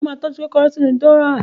Mo ma tọ́jú kòkòrò sínú dùrọ́á